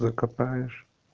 закопаешь